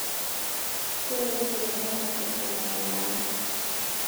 Kelelek eitanyamal siasa ina wilaya